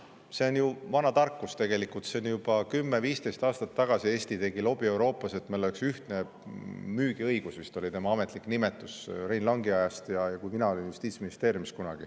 See on ju vana tarkus tegelikult: juba 10–15 aastat tagasi tegi Eesti Euroopas lobi, et meil oleks ühtne müügiõigus, see oli vist selle ametlik nimetus Rein Langi ajast, ja ajast, kui mina olin kunagi Justiitsministeeriumis.